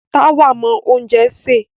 Táwà mọ oúnjẹ sè.